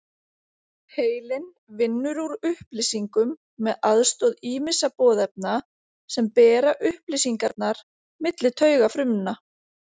Heilinn vinnur úr upplýsingum með aðstoð ýmissa boðefna sem bera upplýsingarnar milli taugafrumna.